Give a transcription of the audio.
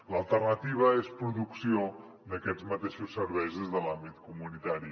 l’alternativa és producció d’aquests mateixos serveis des de l’àmbit comunitari